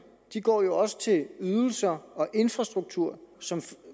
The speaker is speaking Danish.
går jo også til ydelser og infrastruktur som